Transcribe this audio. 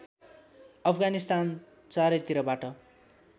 अफगानिस्तान चारैतिरबाट